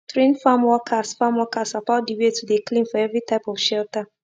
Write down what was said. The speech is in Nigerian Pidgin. train farm workers farm workers about de way to de clean for every type of shelter